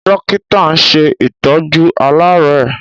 Dọ́kítà ń ṣe ìtọ́jú aláàárẹ̀.